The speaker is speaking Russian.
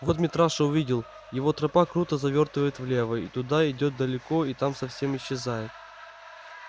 вот митраша увидел его тропа круто завёртывает влево и туда идёт далеко и там совсем исчезает